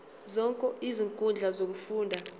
zonke izinkundla zokufunda